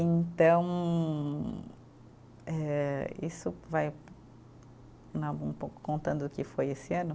Então eh, isso vai um pouco contando o que foi esse ano.